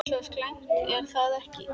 Svo slæmt er það ekki.